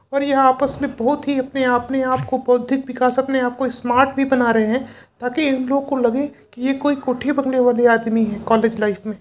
और ये आपस मे बहुत ही अपने आप ने आपको बौद्धिक विकास अपने आपको स्मार्ट भी बना रहे हैं ताकि इन लोग को लगे कि ये कोई कोठी बंगले वाले आदमी हैं कॉलेज लाइफ में --